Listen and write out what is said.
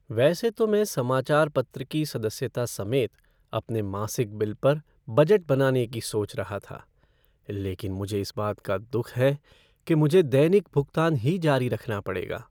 वैसे तो मैं समाचार पत्र की सदस्यता समेत अपने मासिक बिल पर बजट बनाने की सोच रहा था, लेकिन मुझे इस बात का दुख है कि मुझे दैनिक भुगतान ही जारी रखना पड़ेगा।